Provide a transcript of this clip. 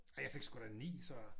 Ej jeg fik sgu da 9 så